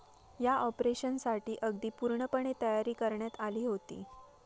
या ऑपरेशनसाठी अगदी पूर्णपणे तयारी करण्यात आली होती.